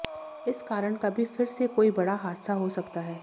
इस कारण कभी फिर से कोई बड़ा हादसा हो सकता है